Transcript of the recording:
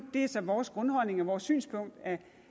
er så vores grundholdning og vores synspunkt